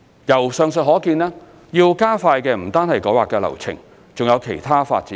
由上述可見，要加快的不單是改劃流程，還有其他發展程序。